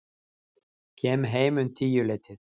Kem heim um tíuleytið.